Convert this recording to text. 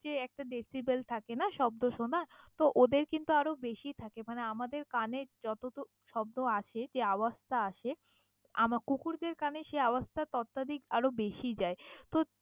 যে একটা decibel থাকে শব্দ শোনার, তো ওদের কিন্তু আরও বেশী থাকে মানে আমাদের কানে যতোটুক শব্দ আসে যে আওয়াজ টা আসে আমা কুকুর দের কানে সেই আওয়াজ টা ততাধিক আরও বেশী যায় তো।